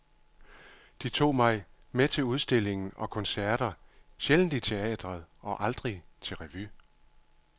De tog mig med til udstillinger og koncerter, sjældent i teatret og aldrig til revy.